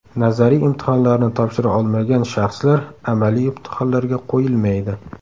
Nazariy imtihonlarni topshira olmagan shaxslar amaliy imtihonlarga qo‘yilmaydi.